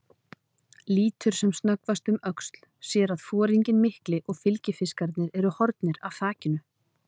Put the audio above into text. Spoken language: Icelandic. Lítur sem snöggvast um öxl, sér að foringinn mikli og fylgifiskarnir eru horfnir af þakinu.